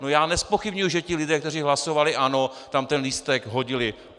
No, já nezpochybňuji, že ti lidé, kteří hlasovali ano, tam ten lístek vhodili.